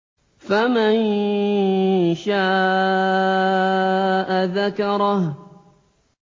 فَمَن شَاءَ ذَكَرَهُ